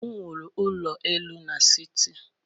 M wuru ụlọ elu n'siti.